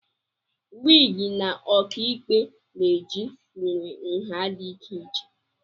Wịgị ndị ọkàikpe na-eji nwere nha dị iche iche